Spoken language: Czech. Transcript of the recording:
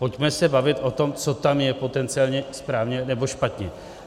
Pojďme se bavit o tom, co tam je potenciálně správně nebo špatně.